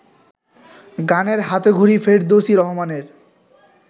গানের হাতেখড়ি ফেরদৌসী রহমানের